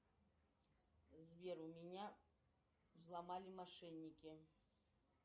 сбер у меня взломали мошенники